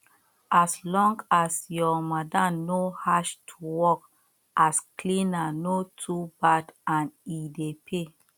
as long as your madam no harsh to work as cleaner no to bad and e dey pay